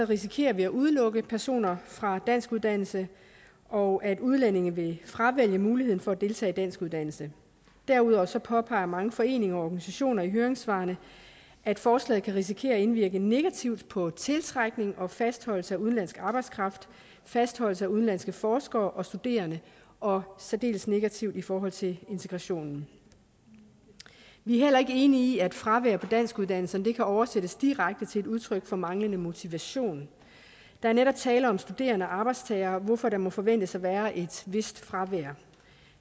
risikerer vi at udelukke personer fra danskuddannelse og at udlændinge vil fravælge muligheden for at deltage i danskuddannelse derudover påpeger mange foreninger og organisationer i høringssvarene at forslaget kan risikere at indvirke negativt på tiltrækning og fastholdelse af udenlandsk arbejdskraft fastholdelse af udenlandske forskere og studerende og særdeles negativt i forhold til integrationen vi er heller ikke enige i at fravær på danskuddannelserne kan oversættes direkte til et udtryk for manglende motivation der er netop tale om studerende og arbejdstagere hvorfor der må forventes at være et vist fravær